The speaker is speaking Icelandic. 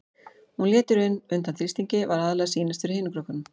Hún lét í raun undan þrýstingi, var aðallega að sýnast fyrir hinum krökkunum.